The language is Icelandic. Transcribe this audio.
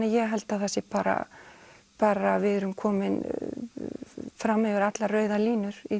ég held að það sé bara bara við erum komin fram yfir allar rauðar línur í